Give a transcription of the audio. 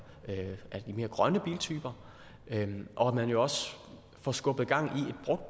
af de mere grønne biltyper og at man jo også får skubbet gang